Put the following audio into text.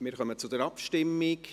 Wir kommen zur Abstimmung.